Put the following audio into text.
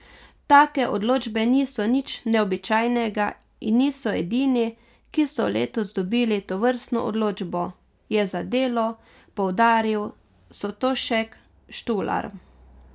Take odločbe niso nič neobičajnega in niso edini, ki so letos dobili tovrstno odločbo, je za Delo poudaril Sotošek Štular.